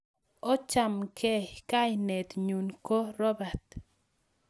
Ochamgei...kainet nyuu ko robat